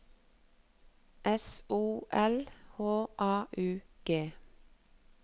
S O L H A U G